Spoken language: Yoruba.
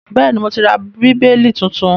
Bẹ́ẹ̀ni, mo ti ra Bíbélì tuntun